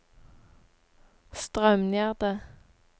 Straumgjerde